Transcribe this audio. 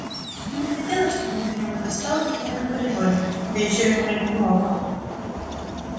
им не хотелось чтобы кто-нибудь застал их в этом коридоре да ещё во время урока